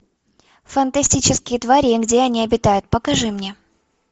фантастические твари и где они обитают покажи мне